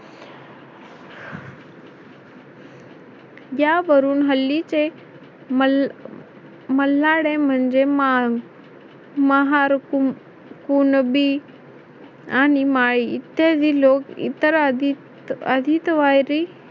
यावरून हल्लीचे मल्हारडे म्हणजे महार महार कुणबी आणि माळी इत्यादी लोक इतर आधी आदितवारी